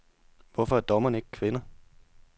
Hvorfor er dommerne ikke kvinder?